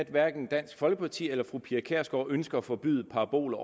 at hverken dansk folkeparti eller fru pia kjærsgaard ønsker at forbyde paraboler